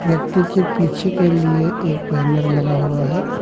व्यक्ति के पीछे के लिए एक बैनर लगा हुआ है।